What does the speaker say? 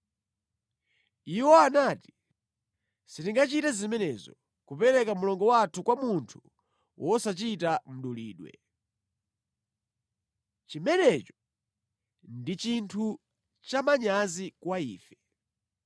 Iwo anati, “Sitingachite zimenezo, kupereka mlongo wathu kwa munthu wosachita mdulidwe. Chimenecho ndi chinthu cha manyazi kwa ife.